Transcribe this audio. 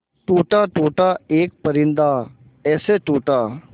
टूटा टूटा एक परिंदा ऐसे टूटा